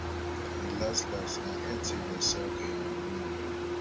and las las e end say dem sack um me